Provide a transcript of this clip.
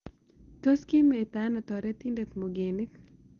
Tos' kimeita aino toretindet Mugenik